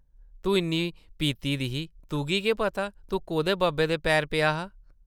तूं इन्नी पीती दी ही, तुगी केह् पता तूं कोह्दे बब्बै दे पैरें पेआ हा ।